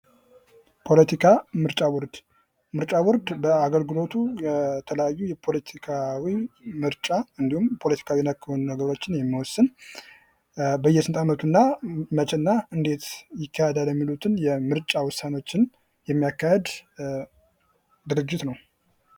ሕገ መንግሥት የአንድን ሀገር መሠረታዊ የሕግ ማዕቀፍ የሚያሳይ ሲሆን የመንግሥትን ሥልጣን ይገድባል እንዲሁም የዜጎችን መብት ያስከብራል።